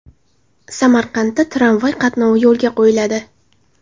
Samarqandda tramvay qatnovi yo‘lga qo‘yiladi.